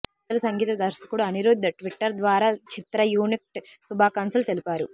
సంచలన సంగీత దర్శకుడు అనిరుధ్ ట్విట్టర్ ద్వారా చిత్రయూనిట్కు శుభాకాంక్షలు తెలిపారు